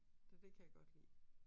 Så det kan jeg godt lide